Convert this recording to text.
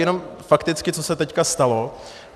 Jenom fakticky, co se teď stalo.